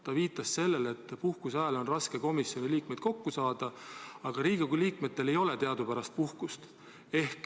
Ta viitas sellele, et puhkuse ajal on raske komisjoni liikmeid kokku saada, aga Riigikogu liikmetel ei ole teadupärast puhkust.